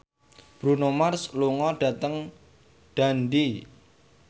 Bruno Mars lunga dhateng Dundee